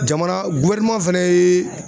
Jamana fɛnɛ ye.